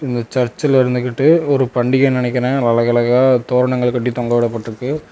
இந்த சர்ச்ல இருந்துகிட்டு ஒரு பண்டிகனு நினைக்குறே அழகு அழகா தோரணங்கள் கட்டி தொங்க விடப்பட்டுருக்கு.